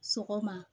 Sɔgɔma